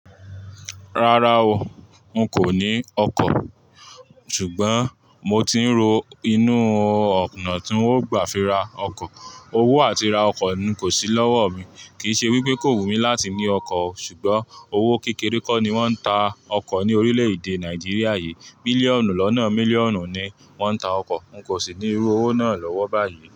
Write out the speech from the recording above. Rárá o, n kò ní ọkọ̀, ṣùgbọ́n mo ti ń ro inú ọ̀nà tí ń o gbà fi ra ọkọ̀. Owó àti ra ọkọ̀ ni kò sí lọ́wọ́ mi. Kì í ṣe wípé kò wù mí láti ní ọkọ̀ o, ṣùgbọ́n owó kékeré kó ni wọ́n ń ta ọkọ̀ ní orílè-èdè Nàìjíríà yìí. Bílíọ̀nù lọ́nà mílíọ̀nù ni wọ́n ń ta ọkọ̀, n kò sì ní irú owó náà lọ́wọ́ báyìí.